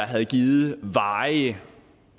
have givet varige